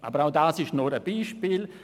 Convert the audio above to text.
Aber auch das ist nur ein Beispiel.